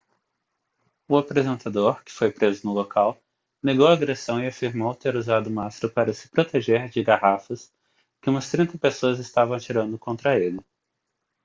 o apresentador que foi preso no local negou a agressão e afirmou ter usado o mastro para se proteger de garrafas que umas trinta pessoas estavam atirando contra ele